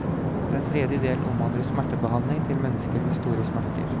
Den tredje delen omhandler smertebehandling til mennesker med store smerter.